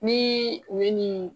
Nii u ye ni